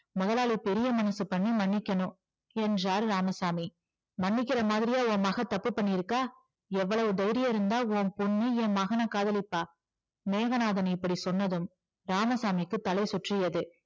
முதலாளி பெரிய மனசு பண்ணி மன்னிக்கணும் என்றார் இராமசாமி மன்னிக்கிற மாதிரியா உன் மகள் தப்பு பண்ணியிருக்கா எவ்வளவு தைரியம் இருந்தா உன் பொண்ணு என் மகனை காதலிப்பா மேகநாதன் இப்படி சொன்னதும் ராமசாமிக்கு தலை சுற்றியது